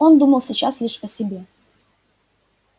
он думал сейчас лишь о себе